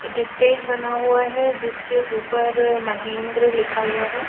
एक स्टेज बना हुआ है जिसके ऊपर महेंद्र लिखा हुआ है।